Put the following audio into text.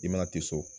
I mana tɛ so